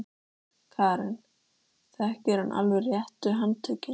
Karen: Þekkir hann alveg réttu handtökin?